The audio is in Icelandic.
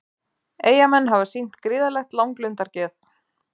Eyjamenn hafa sýnt gríðarlegt langlundargeð